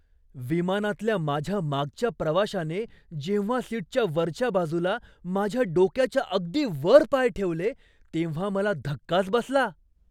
विमानातल्या माझ्या मागच्या प्रवाशाने जेव्हा सीटच्या वरच्या बाजूला माझ्या डोक्याच्या अगदी वर पाय ठेवले, तेव्हा मला धक्काच बसला!